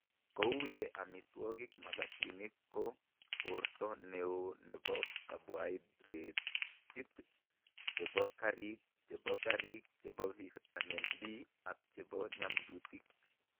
Ko uu ye amitwogik magatiinik ko poorto ne oo ne po karbohidrateet, che po kariik, che po kariik, che po vitamini B, ak che po nyamdutik.